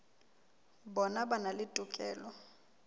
bona ba na le tokelo